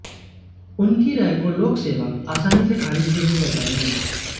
उनकी राय को लोक सेवक आसानी से खारिज भी नहीं कर पाएंगे